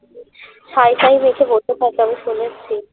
ছাই টাই মেখে বসে থাকে আমি শুনেছি